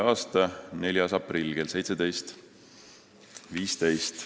a 4. aprill kell 17.15.